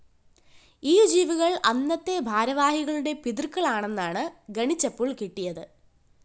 ഈ ജീവികള്‍ അന്നത്തെ ഭാരവാഹികളുടെ പിതൃക്കള്‍ ആണെന്നാണ് ഗണിച്ചപ്പോള്‍ കിട്ടിയത്